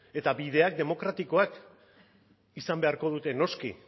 eta bideak demokratikoak izan beharko dute noski